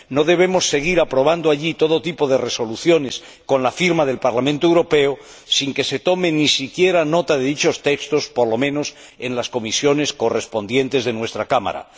No debemos seguir aprobando allí todo tipo de resoluciones, con la firma del Parlamento Europeo, sin que se tome ni siquiera nota de dichos textos, por lo menos en las comisiones correspondientes de nuestra Cámara.